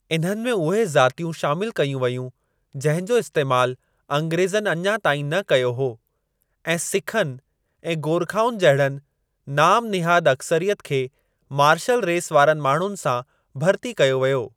इन्हनि में उहे ज़ातियूं शामिल कयूं वयूं जंहिं जो इस्तैमाल अंग्रेज़नि अञा ताईं न कयो हो ऐं सिखनि ऐं गोरखाउनि जहिड़नि नाम निहाद अकसरियत खे 'मार्शल रेस' वारनि माण्हुनि सां भर्ती कयो वियो।